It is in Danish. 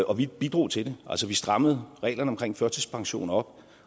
og vi bidrog til det altså vi strammede reglerne omkring førtidspension op